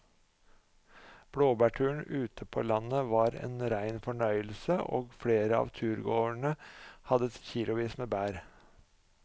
Blåbærturen ute på landet var en rein fornøyelse og flere av turgåerene hadde kilosvis med bær.